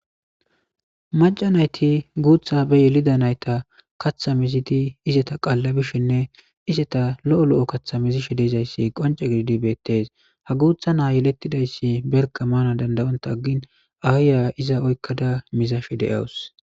Macanayti guutha be yelida nayta kaththamezidi izeta qaallabishinne izeta lo7o lo7o kaththamezi shidezayssi qonce gididi beettes ha guutha naa yelettidayssi berka maana dandayonta aggin aayya iza oykkada mizashe de7awus.